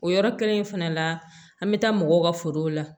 O yɔrɔ kelen in fɛnɛ la an bɛ taa mɔgɔw ka forow la